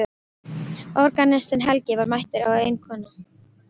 Organistinn Helgi var mættur og ein kona.